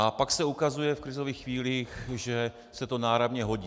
A pak se ukazuje v krizových chvílích, že se to náramně hodí.